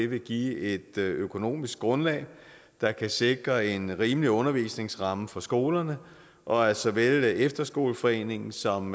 vil give et økonomisk grundlag der kan sikre en rimelig undervisningsramme for skolerne og at såvel efterskoleforeningen som